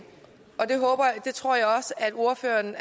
og det tror jeg også ordføreren